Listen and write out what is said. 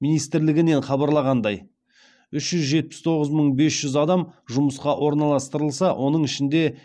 министрлігінен хабарлағандай үш жүз жетпіс тоғыз мың бес жүз адам жұмысқа орналастырылса оның ішінде